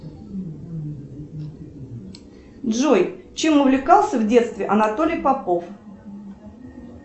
джой чем увлекался в детстве анатолий попов